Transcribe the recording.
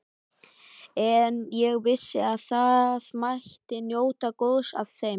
En ég vissi að það mætti njóta góðs af þeim.